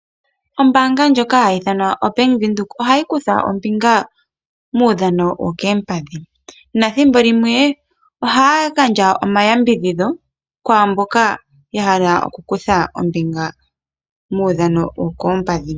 Ombaanga ndjoka hayi ithanwa Bank Windhoek ohayi kutha ombinga muudhano wokoompadhi, nethimbo limwe ohaya gandja omayambidhidho kwaamboka yahala okukutha ombinga muudhano wokoompadhi .